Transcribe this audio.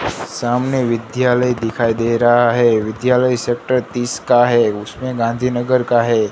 सामने विद्यालय दिखाई दे रहा है विद्यालय सेक्टर तीस का है उसमें गांधीनगर का है।